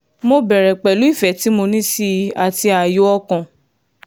mo bẹ̀rẹ̀ pẹ̀lú ìfẹ́ tí mo ní sí i àti ààyò ọkàn